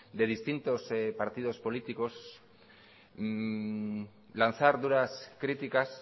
de distintos partidos políticos lanzar duras críticas